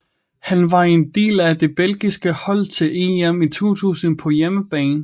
Han var en del af det belgiske hold til EM i 2000 på hjemmebane